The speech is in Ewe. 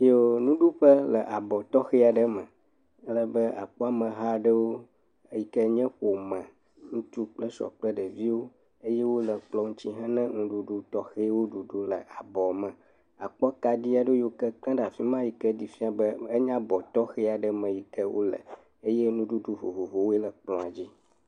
Yooo nuɖuƒe le abɔ tɔxɛ aɖe me alebe akpɔ ameha aɖewo eyi ke nye ƒome ŋutsu kple srɔ̃ kple ɖeviwo eye wole kplɔ ŋuti hena nuɖuɖu tɔxɛwo ɖuɖu le abɔ me. Akpɔ kaɖi aɖewo yi ke kle ɖe afi ma yi ke ɖe fia be enye anye abɔ tɔxɛ aɖe yi ke wole eye nuɖuɖu vovovowo le kplɔa dzi.